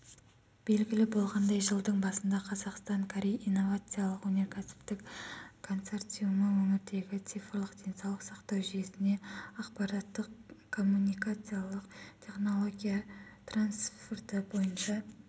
белгілі болғандай жылдың басында қазақстан-корей инновациялық-өнеркәсіптік консорциумы өңірдегі цифрлық денсаулық сақтау жүйесіне ақпараттық-коммуникациялық технология трансферті бойынша